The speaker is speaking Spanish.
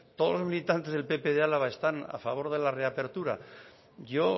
todos los militantes de pp de álava están a favor de la reapertura yo